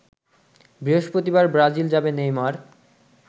বৃহস্পতিবার ব্রাজিল যাবে নেইমার